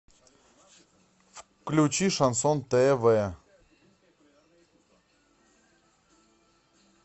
включи шансон тв